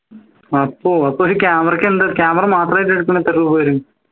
അപ്പോ അപ്പോ ഈ camera ക്ക് എന്താ camera മാത്രയിട്ട് എടുക്കണേ എത്ര രൂപ വരും